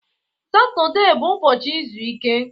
Satọde bụ ụbọchị izu ike